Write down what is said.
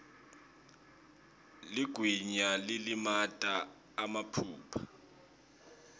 ligwayi lilimata emaphaphu